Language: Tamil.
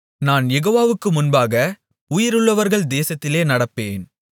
நான் யெகோவாவுக்கு முன்பாக உயிருள்ளவர்கள் தேசத்திலே நடப்பேன்